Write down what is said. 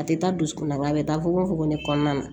A tɛ taa dusukun na nga a bɛ taa fogofogo de kɔnɔna na